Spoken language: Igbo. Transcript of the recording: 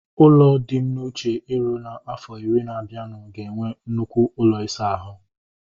Ụlọ dị m n'uche iru na afo iri na abianu ga enwe nnukwu ụlọ isa ahu